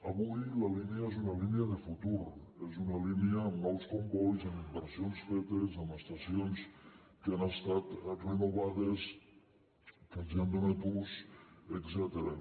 avui la línia és una línia de futur és una línia amb nous combois amb inversions fetes amb estacions que han estat renovades que els han donat ús etcètera